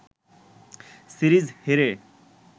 series হেরে